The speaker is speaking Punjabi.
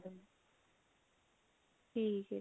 ਠੀਕ ਹੈ ਜੀ